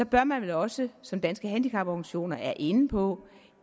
bør man vel også som danske handicaporganisationer er inde på